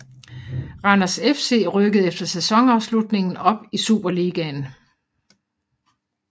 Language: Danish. Randers FC rykkede efter sæsonafslutningen op i Superligaen